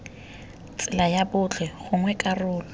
tsela ya botlhe gongwe karolo